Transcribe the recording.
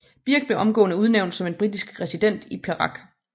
Birch blev omgående udnævnt som en britisk resident i Perak